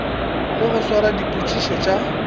le go swara dipitšo tša